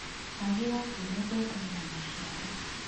Wagi wa mbura ũthũkagia maciaro.